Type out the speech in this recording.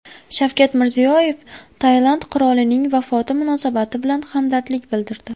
Shavkat Mirziyoyev Tailand qirolining vafoti munosabati bilan hamdardlik bildirdi.